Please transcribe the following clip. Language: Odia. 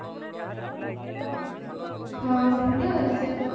ହଁ ସେମତି ଆଉ enjoy କରୁ